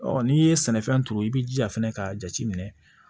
n'i ye sɛnɛfɛn turu i bi jija fɛnɛ k'a jateminɛ